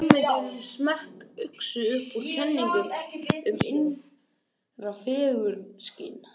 fræðin er slóttug einsog lögin og enginn hafnar því að labba út úr fangelsi.